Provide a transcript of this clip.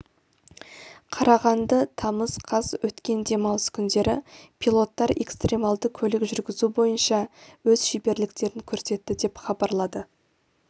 қарағанды тамыз қаз өткен демалыс күндері пилоттар экстремалды көлік жүргізу бойынша өз шеберліктерін көрсетті деп хабарлады